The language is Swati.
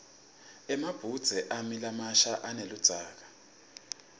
emabhudze ami lamasha aneludzaka